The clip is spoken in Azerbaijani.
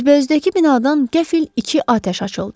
Üzbəüzdəki binadan qəfil iki atəş açıldı.